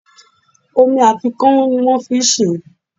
Omi àti kánún ni wón fi n sèé